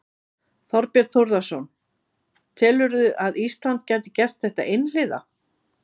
Þorbjörn Þórðarson: Telurðu að Ísland gæti gert þetta einhliða?